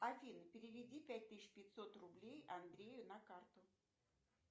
афина переведи пять тысяч пятьсот рублей андрею на карту